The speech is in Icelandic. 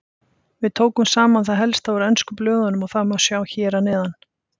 Við tókum saman það helsta úr ensku blöðunum og það má sjá hér að neðan.